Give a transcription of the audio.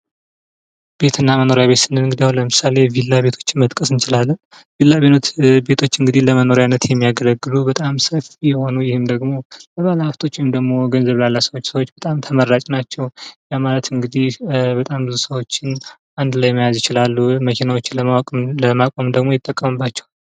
ቤትና መኖሪያ ቤት ስንል እንግዲህ አሁን ለምሳሌ ቪላ ቤቶች መጥቀስ እንችላለን ቪላ ቤቶች ለመኖሪያነት የሚያገለግሉ ለ ሃብቶች ወይም ደግሞ ገንዘብ ላላቸው ሰዎች በጣም ተመራጭ ናቸው ያ ማለት እንግዲህ በጣም ብዙ ሰዎችን አንድ ላይ መያዝ ይችላሉ መኪኖችን ለማቆም ይጠቅሙባቸዋል።